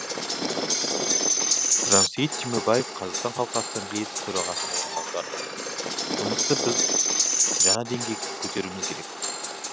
жансейіт түймебаев қазақстан халқы ассамблеясы төрағасының орынбасары жұмысты біз жаңа деңгейге көтеруіміз керек